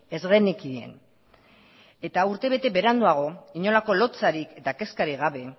ez genekien eta urtebete beranduago inolako lotsarik eta kezkarik gabe